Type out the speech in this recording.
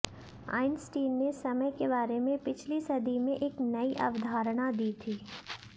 Einstein ने समय के बारे में पिछली सदी में एक नयी अवधारणा दी थी